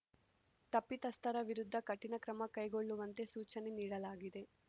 ತಪ್ಪಿತಸ್ಥರ ವಿರುದ್ಧ ಕಠಿಣ ಕ್ರಮ ಕೈಗೊಳ್ಳುವಂತೆ ಸೂಚನೆ ನೀಡಲಾಗಿದೆ